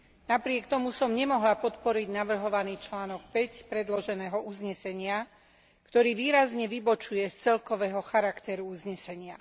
Napriek tomu som nemohla podporiť navrhovaný článok 5 predloženého uznesenia, ktorý výrazne vybočuje z celkového charakteru uznesenia.